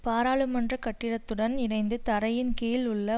பாராளமன்ற கட்டிடத்துடன் இணைந்த தரையின் கீழ் உள்ள